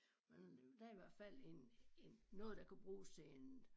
Men der i hvert fald en en noget der kan bruges til en